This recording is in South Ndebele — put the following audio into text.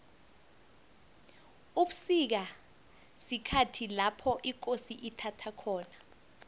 ubusika sikhathi lapho ikosi ithaba khona